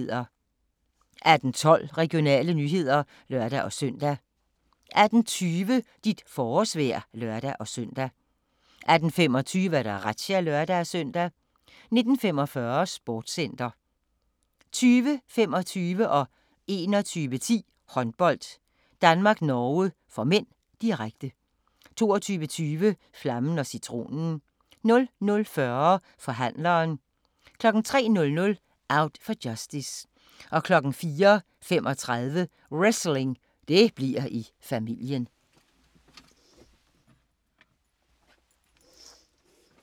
18:12: Regionale nyheder (lør-søn) 18:20: Dit forårsvejr (lør-søn) 18:25: Razzia (lør-søn) 19:45: Sportscenter 20:25: Håndbold: Danmark-Norge (m), direkte 21:10: Håndbold: Danmark-Norge (m), direkte 22:20: Flammen & Citronen 00:40: Forhandleren 03:00: Out for justice 04:35: Wrestling – det bliver i familien